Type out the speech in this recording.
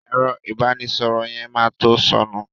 Ẹ̀rọ ìbánísọ̀rọ̀ yẹn ma to sọnù